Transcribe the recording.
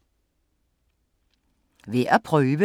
Værd at prøve: